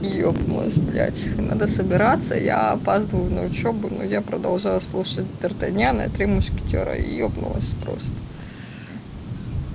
ебнулась блядь надо собираться я опаздываю на учёбу но я продолжала слушать дартаньяна и три мушкетёра ёбнулась просто